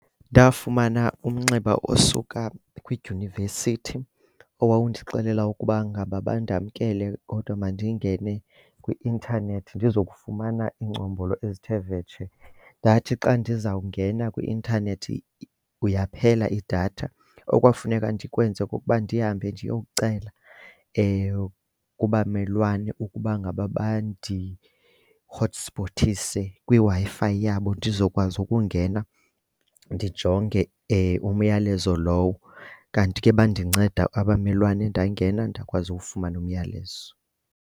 Ndafumana umnxeba osuka kwidyunivesithi owawundixelela ukuba ngaba bandamkele kodwa mandingene kwi-intanethi ndizokufumana iingcombolo ezithe vetshe. Ndathi xa ndizawungena kwi-intanethi yaphela idatha. Okwafuneka ndikwenze kukuba ndihambe ndiyowucela kubamelwane ukuba ngaba bandihotspothise kwiWi-Fi yabo ndizokwazi ukungena ndijonge umyalezo lowo. Kanti ke bandinceda abamelwane ndangena, ndakwazi ukufumana umyalezo.